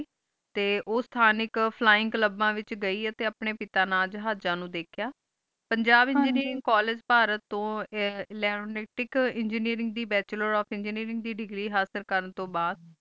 T ਓ ਥਾਨਿਕ flying ਲਬਾ ਵਿਚ ਗਈ ਆਏ ਟੀ ਅਪਨੀ ਪਿਤਾ ਨਾਲ ਹਾਜ੍ਜਾ ਨੂ ਦਾਖਿਯਾ ਪੰਜਾਬ ਵਿਚ ਜੇਰੀ ਕੋਲ੍ਲਾਗੇ ਪਹਾਰਤ ਤੋ ਲੈੰਡ ਇਲੇਕ੍ਟ੍ਰਿਕ ਏਨ੍ਗੀਨੀਰਿੰਗ ਦੀ ਬਚੋਲੇਰ ਓਫ ਏਨ੍ਗੀਨੀਰਿੰਗ ਦੇਗ੍ਰੀ ਹਾਸਿਲ ਕਰਨ ਤ ਬਾਅਦ